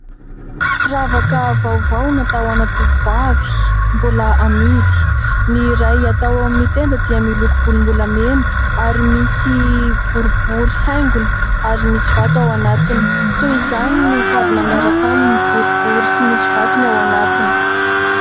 Firavaka vaovao natao ho an'ny tovovavy mbola amidy: ny iray atao amin'ny tenda dia miloko volombolamena ary misy boribory haingony ary misy vato ao anatiny, toy izany ny kavina miaraka aminy boribory sy misy vatony ao anatiny.